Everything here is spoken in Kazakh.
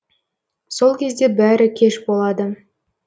сол кезде бәрі кеш болады